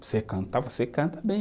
Você cantar, você canta bem.